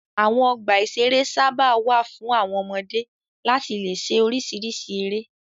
Àwọn ọgbà-ìṣeré sábà wà fún àwọn ọmọdé láti le ṣe oríṣiríṣi eré.